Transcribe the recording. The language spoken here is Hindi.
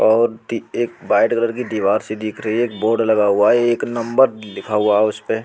और दि एक व्हाइट कलर की दीवार सी दिख रही है एक बोर्ड लगा हुआ है एक नंबर लिखा हुआ है उसे पे ।